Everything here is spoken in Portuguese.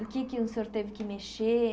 O que é que o senhor teve que mexer?